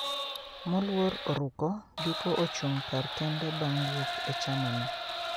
Moluor Oruko giko ochung kar kende bang wuok e chama no